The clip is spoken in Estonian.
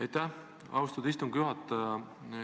Aitäh, austatud istungi juhataja!